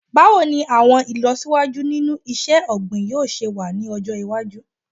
Báwo ni àwọn ìlọsíwájú nínú iṣẹ́-ọ̀gbìn yóò se wà ní ọjọ́ iwájú?